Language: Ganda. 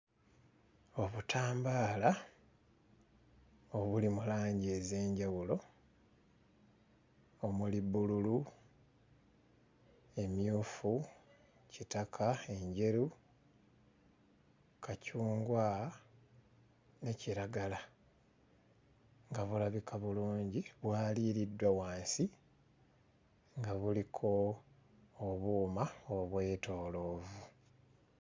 Obutambaala obuli mu langi ez'enjawulo omuli bbululu, emmyufu, kitaka, enjeru, kacungwa, ne kiragala nga bulabika bulungi bwaliiriddwa wansi nga buliko obuuma obwetooloovu.